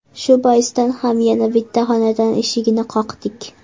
Shu boisdan ham yana bitta xonadon eshigini qoqdik.